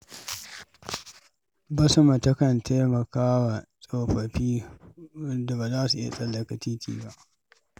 Basma takan taimaka wa tsofaffin da ba za su iya tsallaka titi ba.